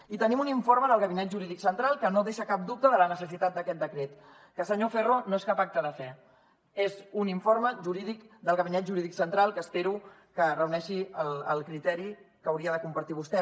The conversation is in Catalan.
i tenim un informe del gabinet jurídic central que no deixa cap dubte de la necessitat d’aquest decret que senyor ferro no és cap acte de fe és un informe jurídic del gabinet jurídic central que espero que reuneixi el criteri que hauria de compartir vostè